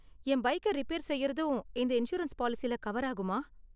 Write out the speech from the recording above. என் பைக்க ரிப்பேர் செய்யறதும் இந்த இன்சூரன்ஸ் பாலிசில கவர் ஆகுமா?